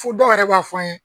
Fo dɔw yɛrɛ b'a fɔ an ye.